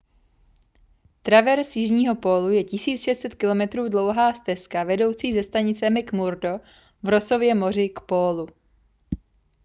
traverz jižního pólu je 1 600 km dlouhá stezka vedoucí ze stanice mcmurdo v rossově moři k pólu